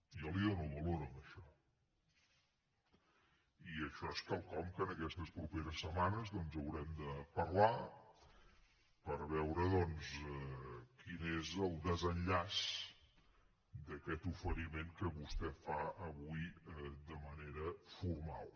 jo hi dono valor a això i això és quelcom que aquestes properes setmanes doncs haurem de parlar per veure quin és el desenllaç d’aquest oferiment que vostè fa avui de manera formal